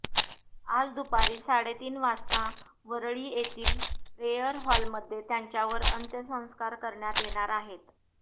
आज दुपारी साडेतीन वाजता वरळी येथली प्रेयर हॉलमध्ये त्यांच्यावर अंत्यसंस्कार करण्यात येणार आहेत